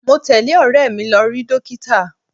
Mo tẹle ọ̀rẹ́ mi lọ rí dókítà.